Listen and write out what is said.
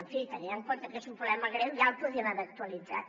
en fi tenint en compte que és un problema greu ja el podíem haver actualitzat